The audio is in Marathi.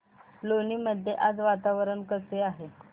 लोणी मध्ये आज वातावरण कसे आहे